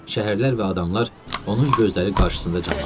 Şəhərlər və adamlar onun gözləri qarşısında canlanırdı.